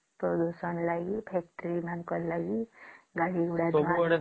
ପ୍ରଦୂଷଣ ଲାଗି factory ମାନଙ୍କ ଲାଗି ଗାଡି ଗୁଡା ଲାଗି